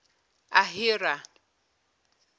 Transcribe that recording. ahira